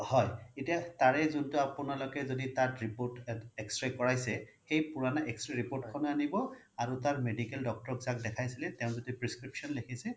হয় এতিয়া তাৰে জুন্তু আপোনালোক যদি তাত report তাত X-ray কৰাইছে সেই পুৰনা X-ray report খনও আনিব আৰু তাৰ medical doctor যাক দেখাইছিলে তেও যি prescription ল্খিছে